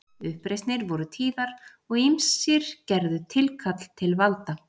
Uppreisnir voru tíðar og ýmsir gerðu tilkall til valda.